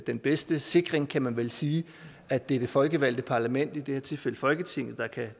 den bedste sikring kan man vel sige at det er det folkevalgte parlament i det her tilfælde folketinget